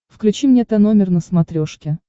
включи мне тномер на смотрешке